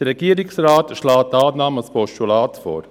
Der Regierungsrat schlägt Annahme als Postulat vor.